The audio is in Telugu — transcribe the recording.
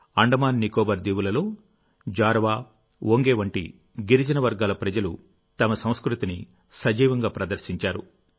అండమాన్ నికోబార్ దీవులలోజారవాఒంగే వంటి గిరిజన వర్గాల ప్రజలు తమ సంస్కృతిని సజీవంగా ప్రదర్శించారు